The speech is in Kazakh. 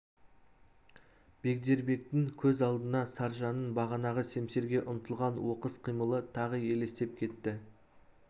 бегдербектің көз алдына саржанның бағанағы семсерге ұмтылған оқыс қимылы тағы елестеп кетті